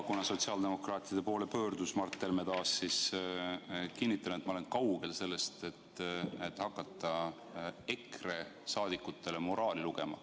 Kuna Mart Helme pöördus sotsiaaldemokraatide poole, siis kinnitan, et ma olen kaugel sellest, et hakata EKRE liikmetele moraali lugema.